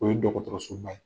O ye ye.